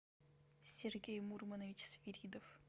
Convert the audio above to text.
сергей мурманович свиридов